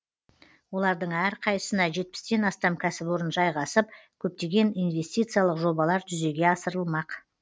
олардың әрқайсысына жетпістен астам кәсіпорын жайғасып көптеген инвестициялық жобалар жүзеге асырылмақ